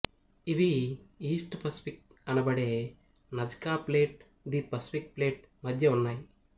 ఇవి east Pacific అనబడే Nazca plate ది పసిఫిక్ ప్లేట్ మద్య ఉన్నాయి